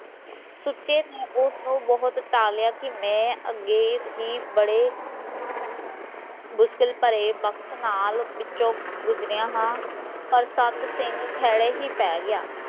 ਸੁਚੇ ਨੇ ਉਸ ਨੂ ਬਹੁਤ ਟਾਲਿਆ ਕੀ ਮੈਂ ਅੱਗੇ ਹੀਂ ਬੜੇ ਮੁਸ਼ਕਿਲ ਭਰੇ ਵਕ਼ਤ ਨਾਲ ਵਿਚੋ ਗੁਜਰਿਆ ਹਾਂ ਪਰ ਸੰਦ ਸਿੰਘ ਖੈੜੇ ਹੀਂ ਪੈ ਗਿਆ